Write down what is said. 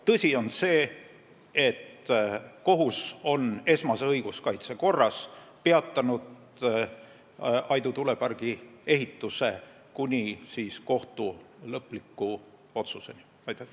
Tõsi on see, et kohus on esmase õiguskaitse korras peatanud Aidu tuulepargi ehituse kuni kohtu lõpliku otsuse tegemiseni.